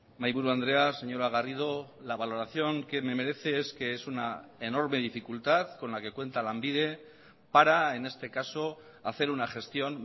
mahaiburu andrea señora garrido la valoración que me merece es que es una enorme dificultad con la que cuenta lanbide para en este caso hacer una gestión